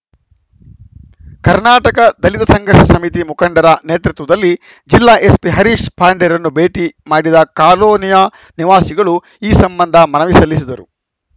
ಕರ್ನಾಟಕ ದಲಿತ ಸಂಘರ್ಷ ಸಮಿತಿ ಮುಖಂಡರ ನೇತೃತ್ವದಲ್ಲಿ ಜಿಲ್ಲಾ ಎಸ್ಪಿ ಹರೀಶ್‌ ಪಾಂಡೆರನ್ನು ಭೇಟಿ ಮಾಡಿದ ಕಾಲೋನಿಯ ನಿವಾಸಿಗಳು ಈ ಸಂಬಂಧ ಮನವಿ ಸಲ್ಲಿಸಿದರು